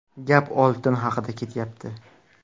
Gap oltin haqida ketyapti.